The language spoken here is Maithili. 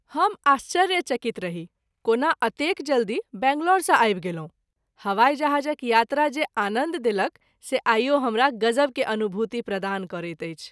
हम आश्चर्य चकित रही कोना अतेक जल्दी बंगलौर सँ आबि गेलहुँ ! हवाई जहाज़क यात्रा जे आनन्द देलक से आइओ हमरा गजब के अनुभूति प्रदान करैत अछि।